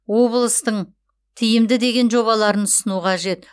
облыстың тиімді деген жобаларын ұсыну қажет